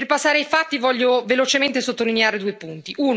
Per passare ai fatti voglio velocemente sottolineare due punti.